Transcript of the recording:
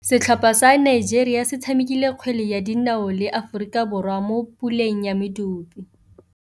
Setlhopha sa Nigeria se tshamekile kgwele ya dinaô le Aforika Borwa mo puleng ya medupe.